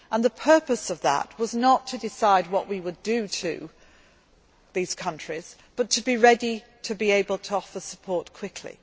Arab countries. The purpose of that meeting was not to decide what we would do to these countries but to be ready to be able to offer support